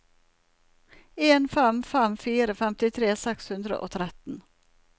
en fem fem fire femtitre seks hundre og tretten